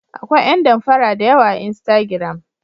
Akwai yan danfara dayawa a instagram.